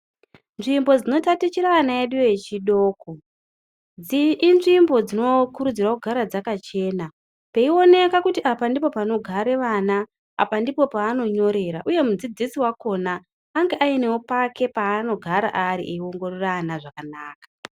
Nzvimbo dzinotatichira ana edu echidoko, inzvimbo dzinokurudzirwa kugara dzakachena. Peioneka kuti apa ndipo panogare vana, apa ndipo pavanyorera uye mudzidzisi wakhona ange aine pakewo paanogara ari eiongorora vana zvakanaka.